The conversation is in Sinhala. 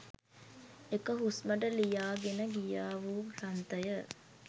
එක හුස්මට ලියා ගෙන ගියා වූ ග්‍රන්ථ ය